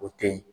O teyi